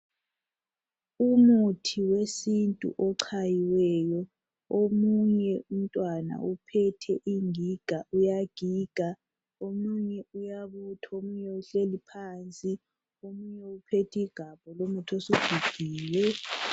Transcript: Umuthi wesintu ochayiweyo .Omunye umtwana uphethe ingiga uyagiga .Omunye uyabutha ,omunye uhleli phansi uphethe igabha lomuthi osugigiwe.